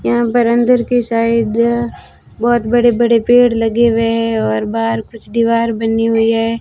यहां पर अंदर की साइड बहोत बड़े बड़े पेड़ लगे हुए है और बाहर कुछ दीवार बनी हुई है।